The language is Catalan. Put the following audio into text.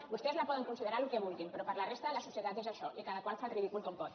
vostès la poden considerar el que vulguin però per a la resta de la societat és això i cadascú fa el ridícul com pot